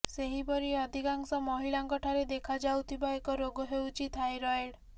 ସେହିପରି ଅଧିକାଂଶ ମହିଳାଙ୍କଠାରେ ଦେଖାଯାଉଥିବା ଏକ ରୋଗ ହେଉଛି ଥାଇରଏଡ୍